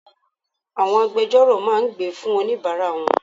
Àwọn agbejọ́rò máa gbè fún oníbàárà wọn.